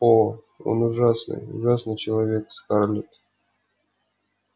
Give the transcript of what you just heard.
о он ужасный ужасный человек скарлетт